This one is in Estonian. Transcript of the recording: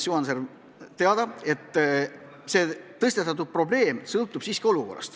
Juhan Sarv vastas, et kõik sõltub siiski konkreetsest olukorrast.